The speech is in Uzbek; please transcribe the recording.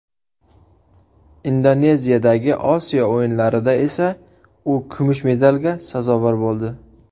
Indoneziyadagi Osiyo o‘yinlarida esa u kumush medalga sazovor bo‘ldi.